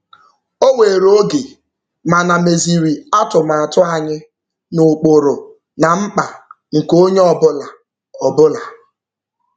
O were oge, mana meziri atụmatụ anyị n'ụkpụrụ na mkpa nke onye ọbụla. ọbụla.